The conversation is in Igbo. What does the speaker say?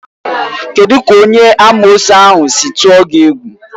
Kedụ ka onye amoosu ahụ si tụọ gị egwu?